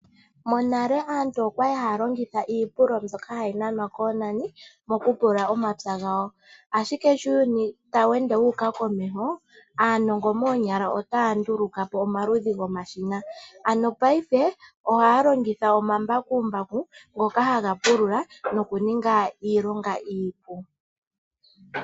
Monale aantu oyali haya longitha iipululo mbyoka hayi nanwa koonani okupulula omapya gawo. Ashike sho uuyuni tawu ende wuuka komeho, aanongo moonyala otaya nduluka po omaludhi gomashina. Monena aantu otaya longitha omambakumbaku ngoka haga pulula nokuninga iilonga iipu.